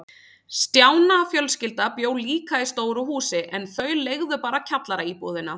Stjána fjölskylda bjó líka í stóru húsi, en þau leigðu bara kjallaraíbúðina.